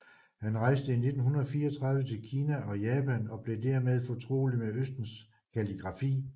Han rejste i 1934 til Kina og Japan og blev der mere fortrolig med Østens kalligrafi